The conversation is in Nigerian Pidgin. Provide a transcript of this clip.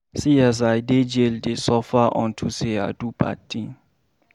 See as I dey jail dey suffer unto say I do bad thing